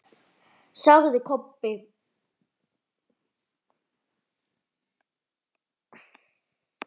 sagði Kobbi.